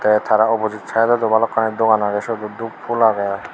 tey tara opujit saedodo balokkani dogan agey siot oh dup pul agey.